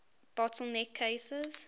bottle neck cases